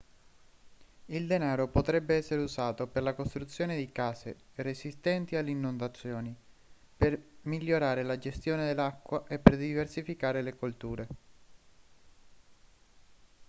il denaro potrebbe essere usato per la costruzione di case resistenti alle inondazioni per migliorare la gestione dell'acqua e per diversificare le colture